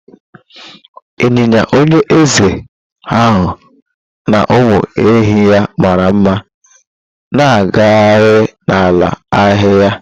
ịnyịnya onye eze ha na ụmụ ehi ya mara mma na-agagharị na ala ahịhịa